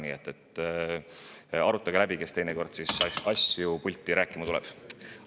Nii et arutage läbi, kes teinekord pulti asjadest rääkima tuleb.